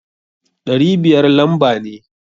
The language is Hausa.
Ɗari biyar lamba ne.